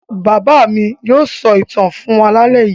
Bàbá mi yóò sọ àwọn ìtàn fún wa lálẹ́ yìí.